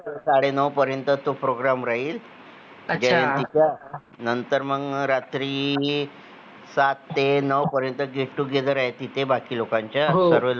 साडे नऊ पर्यंत तो program राहील नंतर मग रात्री सात ते नऊ पर्यंत get together तिथे बाकी लोकांचा